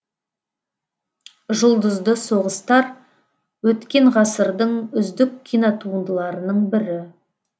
жұлдызды соғыстар өткен ғасырдың үздік кинотуындыларының бірі